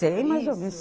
Sei, mas